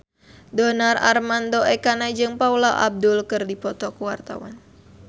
Donar Armando Ekana jeung Paula Abdul keur dipoto ku wartawan